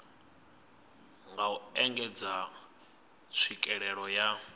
nga u engedza tswikelelo ya